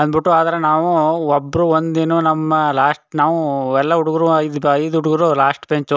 ಅಂದ್ ಬಿಟ್ಟು ಆದ್ರೆ ನಾವು ಒಬ್ರು ಒಂದ್ ದಿನ ನಮ್ಮನ್ ಲಾಸ್ಟ ನಾವು ಎಲ್ಲಾ ಹುಡುಗ್ರು ಐದು ಹುಡುಗ್ರು ಲಾಸ್ಟ ಬೆಂಚ್ --